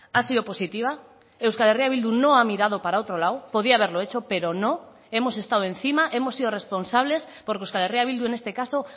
ha sido positiva euskal herria bildu no ha mirado para otro lado podía haberlo hecho pero no hemos estado encima hemos sido responsables porque euskal herria bildu en este caso